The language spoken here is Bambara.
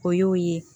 O y'o ye